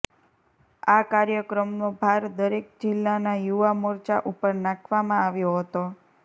આ કાર્યક્રમનો ભાર દરેક જીલ્લાના યુવા મોર્ચા ઉપર નાખવામાં આવ્યો હતો